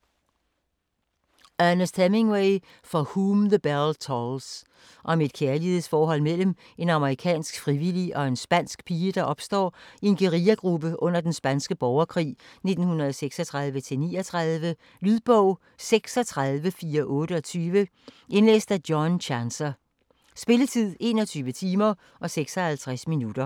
Hemingway, Ernest: For whom the bell tolls Om et kærlighedsforhold mellem en amerikansk frivillig og en spansk pige, der opstår i en guerillagruppe under den spanske borgerkrig 1936-39. Lydbog 36428 Indlæst af John Chancer Spilletid: 21 timer, 56 minutter.